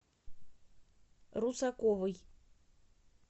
русаковой